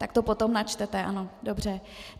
Tak to potom načtete, ano, dobře.